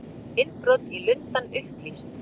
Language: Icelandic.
Innbrot í Lundann upplýst